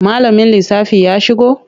Malamin lissafi ya shigo?